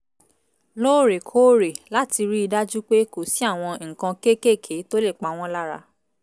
lóòrèkóòrè láti rí i dájú pé kò sí àwọn nǹkan kéékèèké tó lè pa wọ́n lára